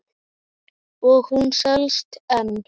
Og hún selst enn.